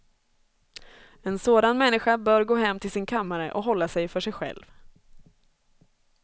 En sådan människa bör gå hem till sin kammare och hålla sig för sig själv.